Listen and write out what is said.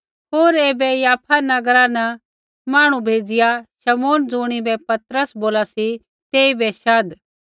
होर ऐबै याफा नगरा न मांहणु भेज़िआ शमौन ज़ुणिबै पतरस बोला सी तेइबै शाध